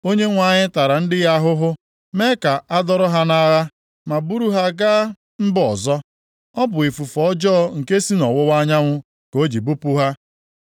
Onyenwe anyị tara ndị ya ahụhụ, mee ka a dọrọ ha nʼagha ma buru ha gaa mba ọzọ. Ọ bụ ifufe ọjọọ nke si nʼọwụwa anyanwụ ka o ji bupụ ha.